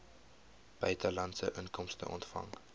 buitelandse inkomste ontvang